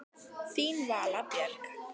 Þín Vala Björg.